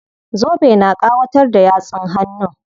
Zobe na ƙawatar da yatsun hannun.